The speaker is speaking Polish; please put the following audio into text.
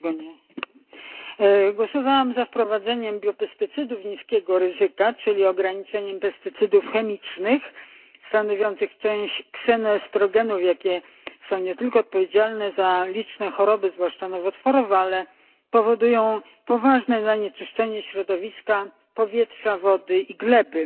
Panie Przewodniczący! Głosowałam za wprowadzeniem biopestycydów niskiego ryzyka, czyli ograniczeniem pestycydów chemicznych, stanowiących część ksenoestrogenów, które są nie tylko odpowiedzialne za liczne choroby, zwłaszcza nowotworowe, ale powodują także poważne zanieczyszczenie środowiska, powietrza, wody i gleby.